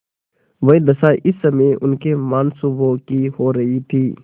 वही दशा इस समय उनके मनसूबों की हो रही थी